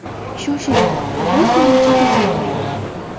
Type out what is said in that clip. Shoshiling, qabul soni chegaralangan!